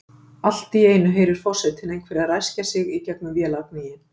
Allt í einu heyrir forsetinn einhvern ræskja sig í gegnum vélargnýinn.